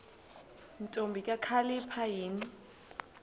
ntombi kakhalipha yini